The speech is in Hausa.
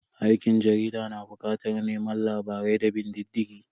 Aikin jarida na bukatar neman labarai da bin diddigi